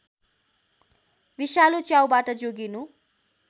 विषालु च्याउबाट जोगिनु